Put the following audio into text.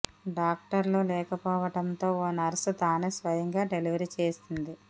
డాక్టర్లు లేక పోవడంతో ఓ నర్సు తానే స్వయంగా డెలివరీ చేసింది